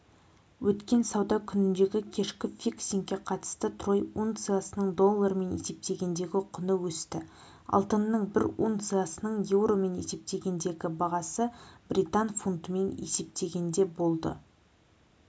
өткен сауда күніндегікешкі фиксингке қатысты трой унциясының доллармен есептегендегі құны өсті алтынның бір унциясының еуромен есептегендегі бағасы британ фунтымен есептегенде болды